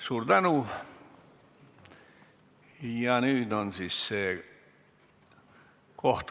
Suur tänu!